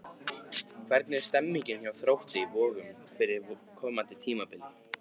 Hvernig er stemningin hjá Þrótti Vogum fyrir komandi tímabil?